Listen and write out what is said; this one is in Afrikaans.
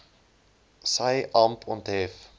sy amp onthef